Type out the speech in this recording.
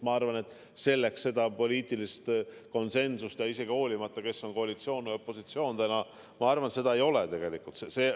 Ma arvan, et selleks poliitilist konsensust tegelikult ei ole, olenemata sellest, kes on täna koalitsioonis või opositsioonis.